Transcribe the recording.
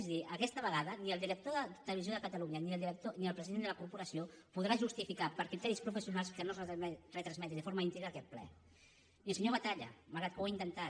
és a dir aquesta vegada ni el director de televisió de catalunya ni el president de la corporació podran justificar per criteris professionals que no es retransmeti de forma íntegra aquest ple ni el senyor batalla malgrat que ho ha intentat